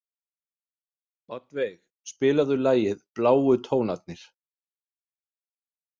Oddveig, spilaðu lagið „Bláu tónarnir“.